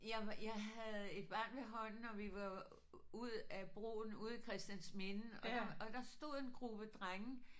Jeg var jeg havde et barn ved hånden og vi var ud af broen ude i Christiansminde og der og der stod en gruppe drenge